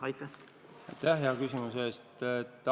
Aitäh hea küsimuse eest!